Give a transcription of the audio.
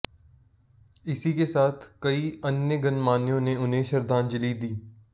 इसी के साथ कई अन्य गणमान्यों ने उन्हें श्रद्धांजलि दी